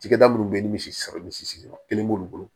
Cakɛda minnu be yen ni misi sera misi sigiyɔrɔ kelen b'olu bolo